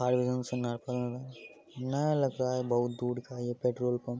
और एकदम सन्नाटा लग रहा है नया लग रहा है ये बहुत दूर का ये पेट्रोल पंप ।